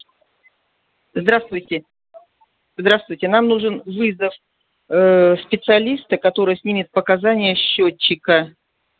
здравствуйте здравствуйте нам нужен ээ вызов специалиста который снимет показания счётчика